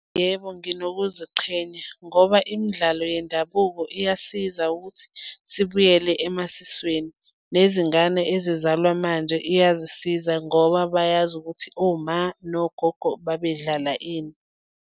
Yebo, nginokuziqhenya ngoba imidlalo yendabuko iyasiza ukuthi sibuyele emasisweni, nezingane ezizalwa manje iyazisiza ngoba bayazi ukuthi oma nogogo babedlala ini.